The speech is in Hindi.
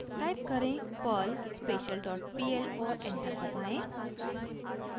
टाइप करें: perl special dot pl और एंटर दबाएं